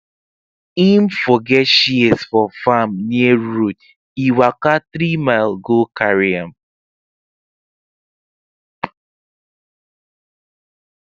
him forget shears for farm near road e waka three mile go carry am